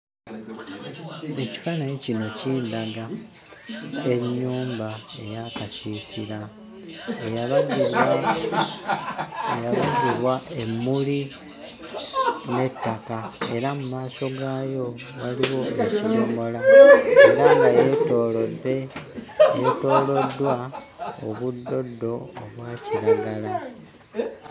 Ekifaananyi kino kindaga ennyumba ey'akasiisira eyabagibwa eyabagibwa emmuli n'ettaka era mu maaso gaayo waliwo ekidomola era nga yeetoolodde, yeetooloddwa obuddoddo obwa kiragala.